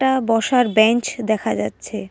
আ বসার বেঞ্চ দেখা যাচ্ছে।